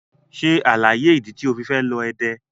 Ṣe alaye idi ti o fi fẹ lọ Ede!